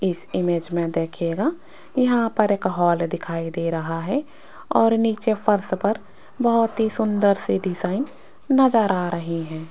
इस इमेज में देखिएगा यहां पर एक हॉल दिखाई दे रहा है और नीचे फर्श पर बहुत ही सुंदर सी डिजाइन नजर आ रही है।